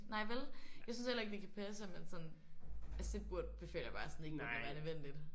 Nej vel? Jeg synes heller ikke det kan passe at man sådan altså det burde føler jeg bare sådan ikke burde være nødvendigt